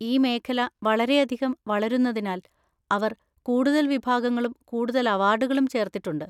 ഈ മേഖല വളരെയധികം വളരുന്നതിനാൽ അവർ കൂടുതൽ വിഭാഗങ്ങളും കൂടുതൽ അവാർഡുകളും ചേർത്തിട്ടുണ്ട്.